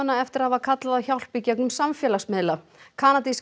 eftir að hafa kallað á hjálp í gegnum samfélagsmiðla kanadísk